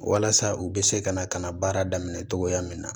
Walasa u bɛ se ka na ka na baara daminɛ cogoya min na